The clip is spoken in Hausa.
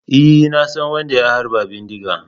E, na san wadda ya harba bindiga.